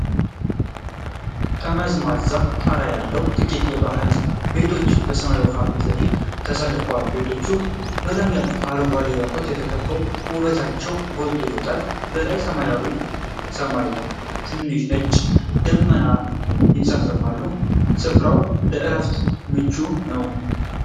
ጠመዝማዛ ጣራ ያላቸው ጥቂት ባህላዊ ቤቶች በሰማያዊ ውሃ ፊት ለፊት ተሰልፈዋል። ቤቶቹ በለምለም አረንጓዴ ዛፎች ተከበው ውበታቸው ጎልቶ ይወጣል። በላይ ሰማያዊ ሰማይና ትንሽ ነጭ ደመናዎች ይንሳፈፋሉ። ስፍራው ለእረፍት ምቹ ነው?